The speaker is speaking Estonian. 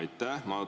Aitäh!